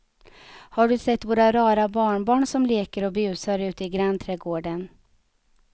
Har du sett våra rara barnbarn som leker och busar ute i grannträdgården!